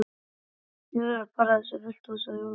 Hefur þar fullt hús af jólagestum.